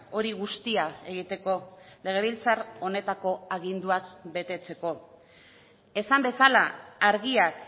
hori guztia egiteko legebiltzar honetako aginduak betetzeko esan bezala argiak